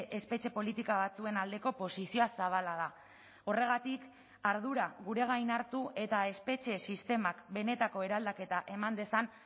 espetxe politika batzuen aldeko posizioa zabala da horregatik ardura gure gain hartu eta espetxe sistemak benetako eraldaketa eman dezan